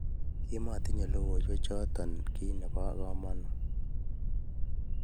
Kimatinyei logoywek choto kiy nebo kamanut